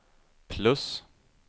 plus